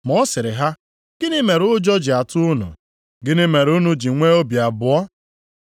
Ma ọ sịrị ha, “Gịnị mere ụjọ ji atụ unu, gịnị mere unu ji nwee obi abụọ?